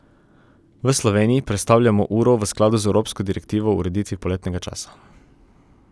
V Sloveniji prestavljamo uro v skladu z evropsko direktivo o ureditvi poletnega časa.